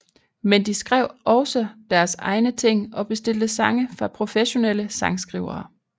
Men de skrev også deres egne ting og bestilte sange fra professionelle sangskrivere